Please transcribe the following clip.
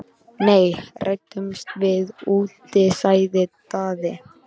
Nei, ræðumst við úti, sagði Daði.